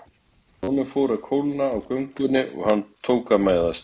Honum fór að kólna á göngunni og hann tók að mæðast.